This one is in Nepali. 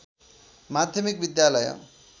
माध्यमिक विद्यालय